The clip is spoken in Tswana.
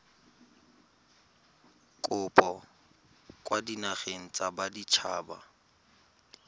kopo kwa dinageng tsa baditshaba